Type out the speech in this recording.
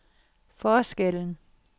forskellen